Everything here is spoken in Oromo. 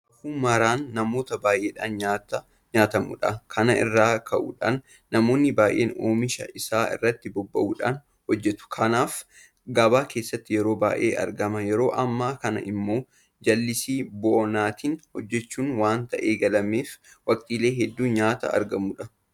Raafuu maraan namoota baay'eedhaan nyaata nyaatamudha. Kana irraa ka'uudhaan namoonni baay'een oomisha isaa irratti bobba'uudhaan hojjetu. Kanaaf gabaa keessattis yeroo baay'ee argama. Yeroo ammaa kana immoo jallisii bonaatiin hojjechuun waanta eegaleef waqtiilee hedduu nyaata argamudha.